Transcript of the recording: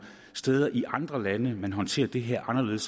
steder i andre lande man håndterer det her anderledes